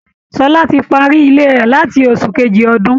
Ṣọlá ti parí Ilé rẹ̀ láti oṣù kejì ọdún